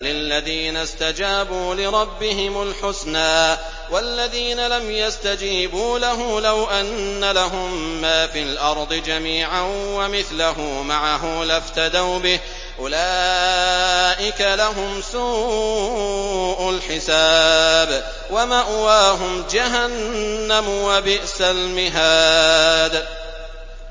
لِلَّذِينَ اسْتَجَابُوا لِرَبِّهِمُ الْحُسْنَىٰ ۚ وَالَّذِينَ لَمْ يَسْتَجِيبُوا لَهُ لَوْ أَنَّ لَهُم مَّا فِي الْأَرْضِ جَمِيعًا وَمِثْلَهُ مَعَهُ لَافْتَدَوْا بِهِ ۚ أُولَٰئِكَ لَهُمْ سُوءُ الْحِسَابِ وَمَأْوَاهُمْ جَهَنَّمُ ۖ وَبِئْسَ الْمِهَادُ